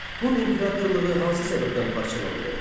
Hun imperatorluğu hansı səbəbdən parçalandı?